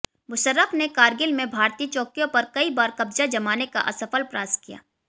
मुशर्रफ ने कारगिल में भारतीय चौकियों पर कई बार कब्ज़ा जमाने का असफल प्रयास किया